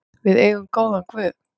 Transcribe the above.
Við eigum góðan guð.